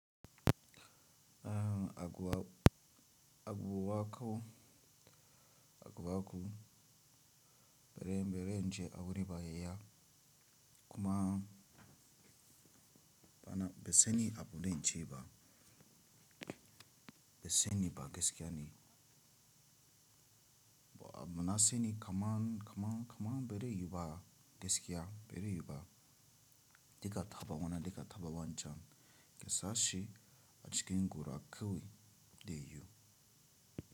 A, aguwaku, aguwaku, aguwaku, bere, beri inje abune baya kuma beseni abune nje ba, beseni ba gaskiya ne, na seni kaman, kaman, kaman bere yuba gaskiya, bere yuba diga thaba wana diga thaba wancan, kesashe a cikin gura akawi de yu.